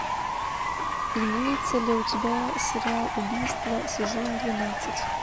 имеется ли у тебя сериал убийство сезон двенадцать